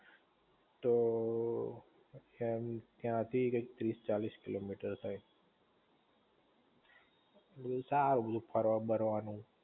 તો, ત્યાંથી ક્યાંક ત્રીસ ચાલીસ કિલોમીટર થાય તા આવે બધુ ફરવા બરવા નું